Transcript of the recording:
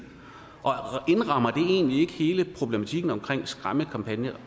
indrammer det egentlig ikke hele problematikken omkring skræmmekampagner